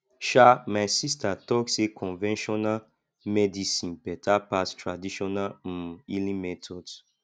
um my sista tok sey conventional medicine beta pass traditional um healing methods